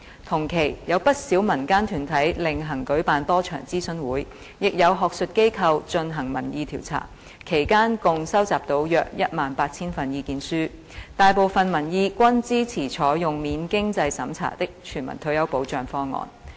同期，有不少民間團體另行舉辦多場諮詢會，亦有學術機構進行民意調查，其間共收集到約18000份意見書，大部分民意均支持採用免經濟審查的全民退保方案。